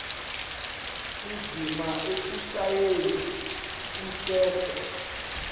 indzima ekushayeni umtsetfo